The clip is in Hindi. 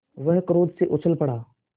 वह क्रोध से उछल पड़ा